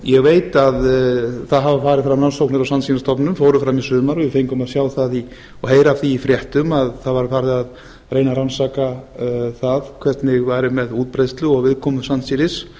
ég veit að það hafa farið fram rannsóknir á sandsílastofninum fóru fram í sumar við fengum að sjá og heyra af því fréttum að það var farið að reyna að rannsaka hvernig væri með útbreiðslu og viðkomu sandsílis